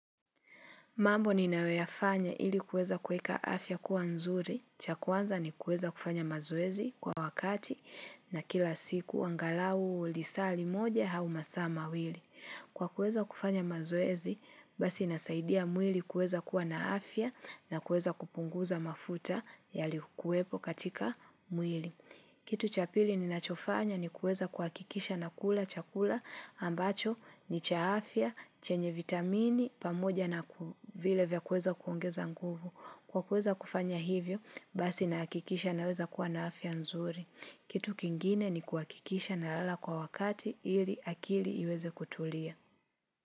Mambo ninayoyafanya ili kueza kueka afya kuwa nzuri. Cha kwanza ni kuweza kufanya mazoezi kwa wakati na kila siku angalau lisaa li moja hau masaa mawili. Kwa kuweza kufanya mazoezi, basi nasaidia mwili kuweza kuwa na afya na kuweza kupunguza mafuta yalikuwepo katika mwili. Kitu chapili ninachofanya ni kuweza kuhakikisha na kula chakula ambacho ni cha afya, chenye vitamini, pamoja na vile vya kuweza kuongeza nguvu. Kwa kuweza kufanya hivyo, basi nahakikisha naweza kuwa na afya nzuri. Kitu kingine ni kuhakikisha na lala kwa wakati ili akili iweze kutulia.